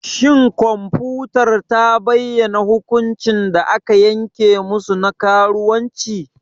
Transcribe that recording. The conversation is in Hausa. Shin kwamfutar ta bayyana hukuncin da aka yanke musu na karuwanci?